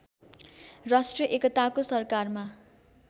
राष्ट्रिय एकताको सरकारमा